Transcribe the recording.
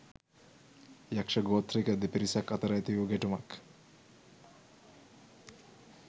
යක්ෂ ගෝත්‍රික දෙපිරිසක් අතර ඇතිවූ ගැටුමක්